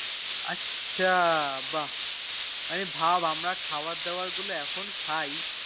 আচ্ছা বাহ মানে আমরা খাবার দাবার গুলো এখন খাই